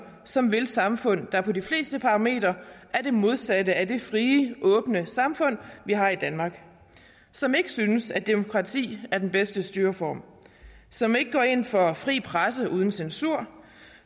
som vil et samfund der på de fleste parametre er det modsatte af det frie åbne samfund vi har i danmark som ikke synes at demokrati er den bedste styreform som ikke går ind for fri presse uden censur